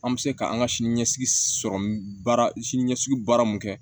An bɛ se ka an ka sini ɲɛsigi sɔrɔ baara siniɲɛsigi baara min kɛ